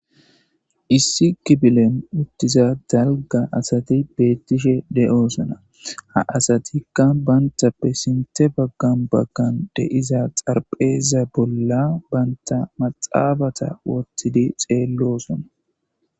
Issi kifilen uttida dalga asati beetishe de'osona. Ha asatika banta sinthe baggan de'iza xarapheza bolla banta maxaafeta wothidi xeelosona.